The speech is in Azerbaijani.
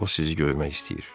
O sizi görmək istəyir.”